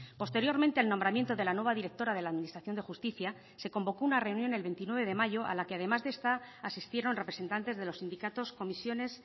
posteriormente el nombramiento de la nueva directora de la administración de justicia se convocó una reunión el veintinueve de mayo a la que además de esta asistieron representantes de los sindicatos comisiones